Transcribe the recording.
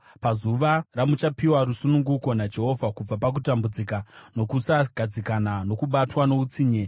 Pazuva ramuchapiwa rusununguko naJehovha kubva pakutambudzika, nokusagadzikana, nokubatwa noutsinye,